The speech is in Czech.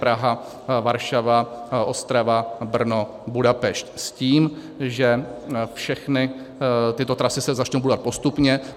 Praha - Varšava - Ostrava - Brno - Budapešť s tím, že všechny tyto trasy se začnou budovat postupně.